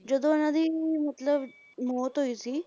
ਜਦੋਂ ਇਹਨਾਂ ਦੀ ਮਤਲਬ ਮੌਤ ਹੋਈ ਸੀ